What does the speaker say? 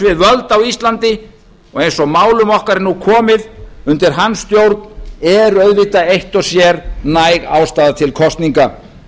við völd á íslandi og eins og málum er nú komið undir hans stjórn eru eitt og sér næg ástæða til kosninga